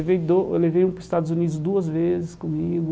Eu levei do eu levei um para os Estados Unidos duas vezes comigo.